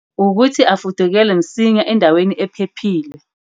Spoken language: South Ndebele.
Ukuthi afudukele msinya endaweni ephephile.